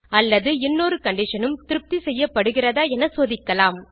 அல்லது இன்னொரு கண்டிஷன் உம் திருப்தி செய்யப்படுகிறதா என சோதிக்கலாம்